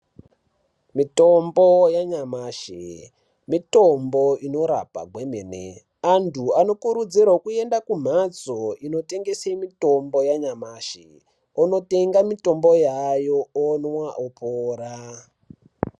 Mitombo yanyamashi mitombo inorapa kwemene antu anokurudzirwa kuenda kumhatso inotengese mitombo yanyamashi onotenga mitombo yaayo omwa opora.